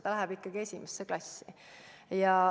Ta läheb ikkagi esimesse klassi.